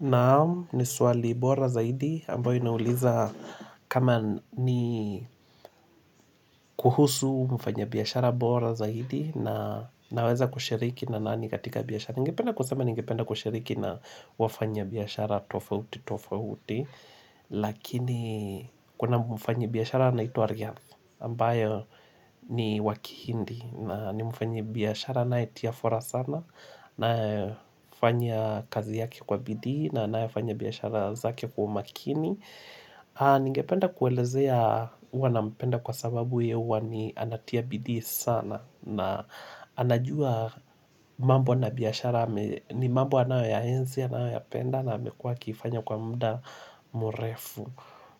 Naam ni swali bora zaidi ambayo inauliza kama ni kuhusu mfanya biyashara bora zaidi na naweza kushiriki na nani katika biyashara. Ningependa kusema ningependa kushiriki na wafanya biyashara tofauti tofauti lakini kuna mfanya biyashara na ito Ariyafo. Ambayo ni wakihindi na ni mufanye biyashara na itiafora sana. Nae fanya kazi yake kwa bidii na anae fanya biyashara zake kwa makini. Ningependa kuelezea uwa na mpenda kwa sababu ya uwa ni anatia bidii sana na anajua mambo na biyashara ni mambo anayo ya enzi anayo ya penda na amekua kifanya kwa mda murefu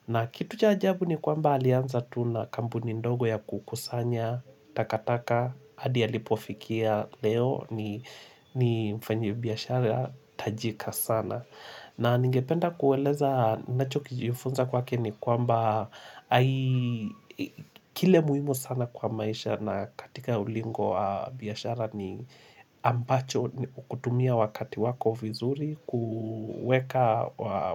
na kitu cha ajabu ni kwamba alianza tu na kambu ni ndogo ya kukusanya, takataka, hadia lipofikia leo ni mfanyi biyashara, tajika sana. Na ningependa kueleza nacho kijifunza kwake ni kwamba. Kile muimu sana kwa maisha na katika ulingo biyashara ni ambacho kutumia wakati wako vizuri, kueka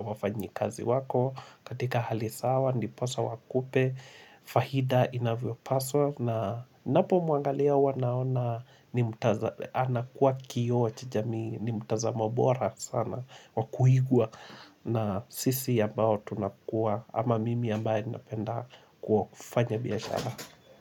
wafanyi kazi wako, katika halisawa, niposa wakupe, fahida inavyo paso. Na napo muangalia ua naona. Ni mutaza Anakua kio chijami ni mutaza mbora sana Wakuhigua. Na sisi ambao tunakua ama mimi ambae napenda kufanya biashara.